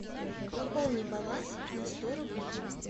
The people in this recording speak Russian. пополни баланс на сто рублей